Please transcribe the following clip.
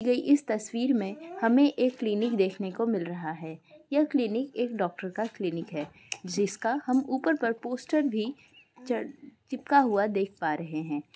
ये इस तस्वीर में हमें एक क्लिनिक देखने को मिल रहा है। यह क्लिनिक एक डॉक्टर का क्लिनिक है। जिसका हम ऊपर पर पोस्टर भी च - चिपका हुआ देख पा रहें हैं।